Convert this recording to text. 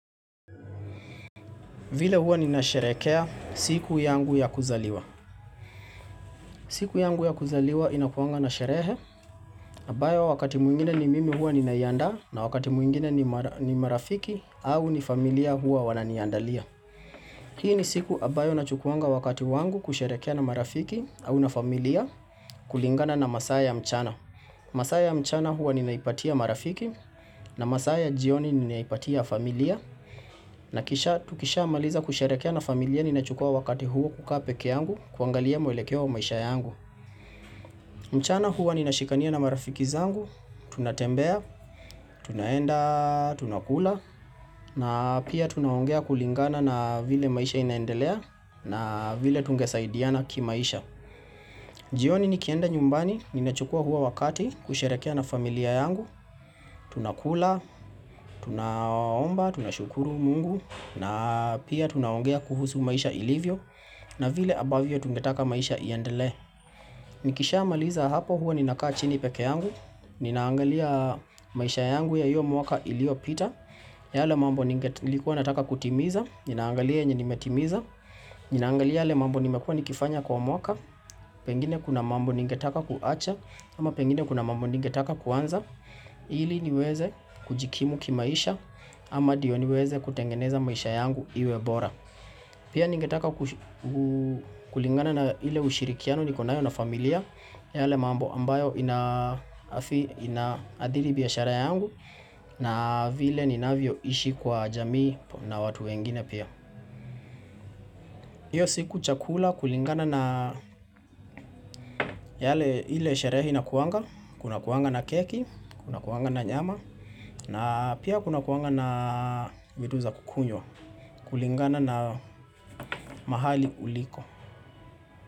Vile hua nina sherekea siku yangu ya kuzaliwa. Siku yangu ya kuzaliwa inakuanga na sherehe, ambayo wakati mwingine ni mimi hua nina iandaa, na wakati mwingine ni marafiki au ni familia hua wananiandalia. Hii ni siku ambayo na chukuwanga wakati wangu kusherekea na marafiki au na familia kulingana na masaa ya mchana. Masaa ya mchana hua ninaipatia marafiki, na masaa ya jioni ninaipatia familia, na kisha tukishamaliza kusherekea na familia ninachukua wakati huo kukaa pekee yangu kuangalia mwelekea wa maisha yangu mchana huo ninashikania na marafiki zangu, tunatembea, tunaenda, tunakula na pia tunaongea kulingana na vile maisha inaendelea na vile tungesaidiana kimaisha jioni nikienda nyumbani ninachukua huo wakati kusherekea na familia yangu Tunakula, tunaomba, tunashukuru mungu na pia tunaongea kuhusu maisha ilivyo na vile ambavyo tungetaka maisha iendelee Nikisha maliza hapo hua ninakaa chini pekee yangu Ninaangalia maisha yangu ya hiyo mwaka iliyo pita yale mambo nilikuwa nataka kutimiza Ninaangalia yenye nimetimiza Ninaangalia yale mambo nimekua nikifanya kwa mwaka Pengine kuna mambo ningetaka kuacha ama pengine kuna mambo ningetaka kuanza ili niweze kujikimu kimaisha ama ndiyo niweze kutengeneza maisha yangu iwebora Pia ningetaka kulingana na ile ushirikiano niko nayo na familia yale mambo ambayo inaadhiri biashara yangu na vile ninavyo ishi kwa jamii na watu wengine pia Iyo siku chakula kulingana na yale ile sherehe ina kuanga Kuna kuanga na keki, kuna kuanga na nyama na pia kuna kuanga na vitu za kukunywa, kulingana na mahali uliko.